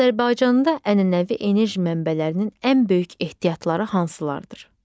Azərbaycanda ənənəvi enerji mənbələrinin ən böyük ehtiyatları hansılardır?